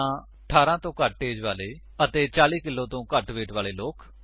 ਜਾਂ 18 ਤੋਂ ਘੱਟ ਏਜ ਵਾਲੇ ਅਤੇ 40 ਕਿੱਲੋ ਤੋਂ ਘੱਟ ਵੇਟ ਵਾਲੇ ਲੋਕ